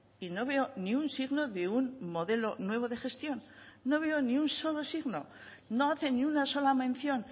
y no veo ni un signo de un modelo nuevo de gestión no veo ni un solo signo no hace ni una sola mención